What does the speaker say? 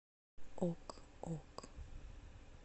ок ок